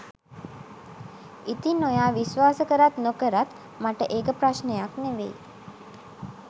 ඉතිං ඔයා විශ්වාස කරත් නොකරත් මට ඒක ප්‍රශ්නයක් නෙවෙයි